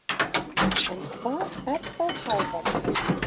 En hvað er þá hávaði?